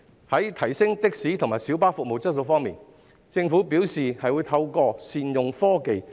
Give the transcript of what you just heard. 在提升的士及小巴服務質素方面，政府表示會透過善用科技進行。